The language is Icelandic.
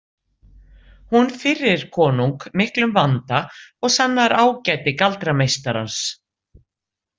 Hún firrir konung miklum vanda og sannar ágæti galdrameistarans.